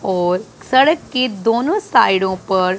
और सड़क के दोनों साइडों पर--